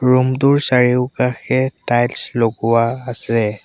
Room টোৰ চাৰিওকাষে tiles লগোৱা আছে।